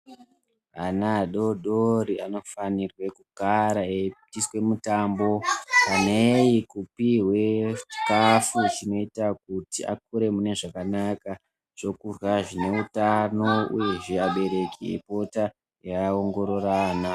Ana adodori anofanirwe kugara eyiitiswe mutambo neyi kupihwe chikafu chinoyita kuti akure mune zvakanaka, zvokurya zvineutano uyezve abereki eyipita eyiongorora ana.